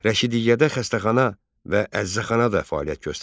Rəşidiyyədə xəstəxana və əzzəxana da fəaliyyət göstərirdi.